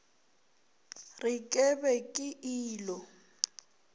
re ke be ke ilo